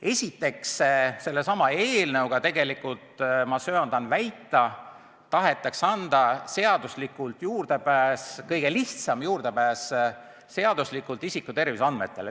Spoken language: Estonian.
Esiteks, sellesama seadusega, ma söandan väita, tahetakse anda seaduslikult kõige lihtsam juurdepääs isikute terviseandmetele.